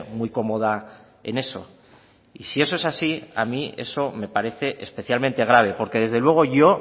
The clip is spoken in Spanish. muy cómoda en eso y si eso es así a mí eso me parece especialmente grave porque desde luego yo